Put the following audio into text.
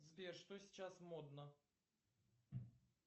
сбер что сейчас модно